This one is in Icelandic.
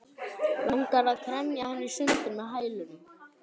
Langar að kremja hann í sundur með hælunum.